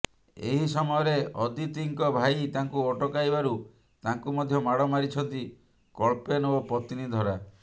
ଏହି ସମୟରେ ଅଦିତିଙ୍କ ଭାଇ ତାଙ୍କୁ ଅଟକାଇବାରୁ ତାଙ୍କୁ ମଧ୍ୟ ମାଡ ମାରିଛନ୍ତି କଳ୍ପେନ ଓ ପତ୍ନୀ ଧରା